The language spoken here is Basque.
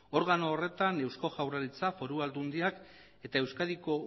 organo horretan eusko jaurlaritza foru aldundiak eta euskadiko